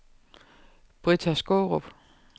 Britta Skaarup